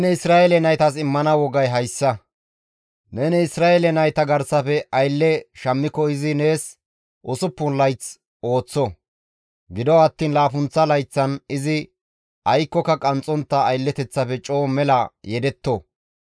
Neni Isra7eele nayta garsafe aylle shammiko izi nees usuppun layth ooththo; gido attiin laappunththa layththan izi aykkoka qanxxontta aylleteththafe coo mela yedetto.